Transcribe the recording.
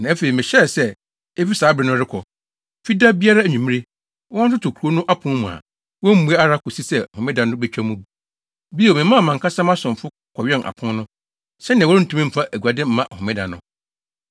Na afei, mehyɛɛ sɛ, efi saa bere no rekɔ, Fida biara anwummere, wɔntoto kurow no apon mu a wommmue ara kosi sɛ Homeda no betwa mu. Bio, memaa mʼankasa mʼasomfo kɔwɛn apon no, sɛnea wɔrentumi mfa aguade mma homeda no.